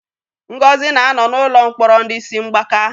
Ngozi na-anọ n'ụlọ mkpọrọ ndị isi mgbaka.